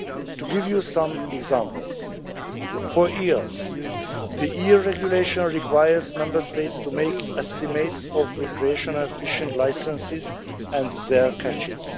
To give you some examples for eels, the EU regulation requires Member States to make estimates of recreational fishing licenses and their catches.